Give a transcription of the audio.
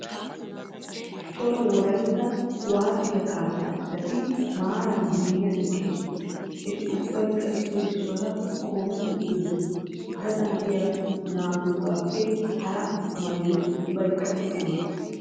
Cora wolaytta kuwaasiya kaassaa citati maaraara ziiriyan eqqidosona. Eti ubbaykka issoy issuwara qoometti uuttidosona. Gaxan de'iya naa"atuugaappe hara maayoy ubbaykka issi mala.